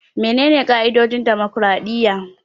Menene ƙa'idodin dimokraɗiyya?